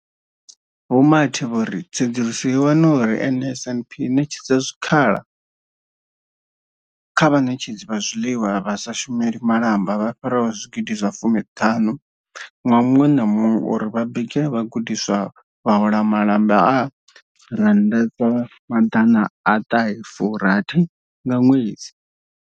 Vho Mathe vho ri tsedzuluso yo wana uri NSNP i ṋetshedza zwikhala kha vhaṋetshedzi vha zwiḽiwa vha sa shumeli malamba vha fhiraho zwigidi zwa fumi ṱhanu ṅwaha muṅwe na muṅwe uri vha bikele vhagudiswa, vha hola malamba a R960 nga ṅwedzi.